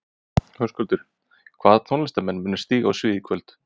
Höskuldur: Hvaða tónlistarmenn munu stíga á svið í kvöld?